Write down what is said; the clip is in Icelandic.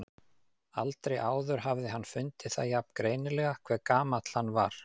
Aldrei áður hafði hann fundið það jafn greinilega hve gamall hann var.